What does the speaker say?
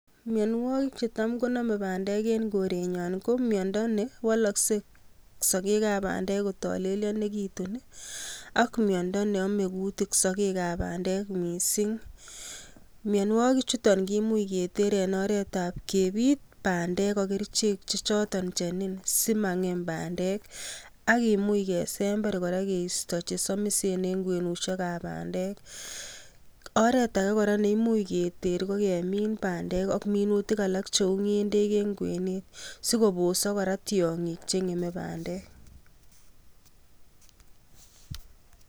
mionwogik chetam konome bandek en korenyon ko newoloksei soogek ab bandek kotolelyonenikitun ak miondo neome kuutik soogekab bandek missing. Mionwokichuton kimuch keter en oretab kebiit bandek ak kerichek che nin simangeem bandek, ak kiimuch kesember kora keisto chesomisen en kwenusiekab bandek. Oret age kora neimuch keter kokemin bandek ak minutik alak cheu ngendek en kwenet sikobosok tiongik chengeme bandek.